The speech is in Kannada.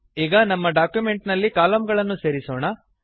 ಈಗ ನಮ್ಮ ಡಾಕ್ಯುಮೆಂಟ್ ನಲ್ಲಿ ಕಲಮ್ ಗಳನ್ನು ಸೇರಿಸೋಣ